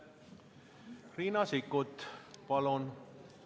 Riina Sikkut, palun!